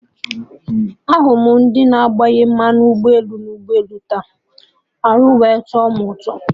Ahụrụ m ndị na-agbanye mmanụ ụgbọelu na ụgbọelu taa, arụ wee tọ mụ ụtọ